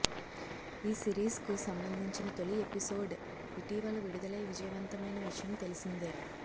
ఈ సిరీస్కు సంబంధించిన తొలి ఎపిసోడ్ ఇటీవల విడుదలై విజయవంతమైన విషయం తెలిసిందే